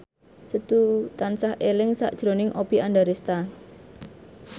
Setu tansah eling sakjroning Oppie Andaresta